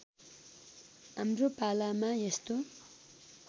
हाम्रो पालामा यस्तो